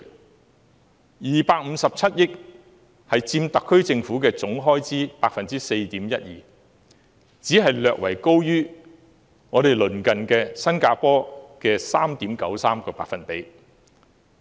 警務處的257億元預算，佔特區政府總開支的 4.12%， 只是略為高於鄰近的新加坡的 3.93%。